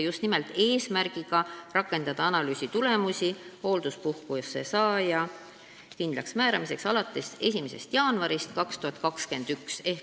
Eesmärk on rakendada selle analüüsi tulemusi hoolduspuhkuse saaja kindlaksmääramiseks alates 1. jaanuarist 2021.